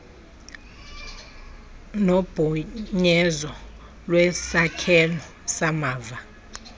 nophunyezo lwesakhelo samava